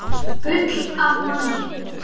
Gull af manni.